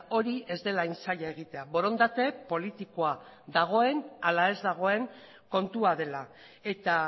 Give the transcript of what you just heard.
hori ez dela hain zaila egitea borondate politikoa dagoen ala ez dagoen kontua dela eta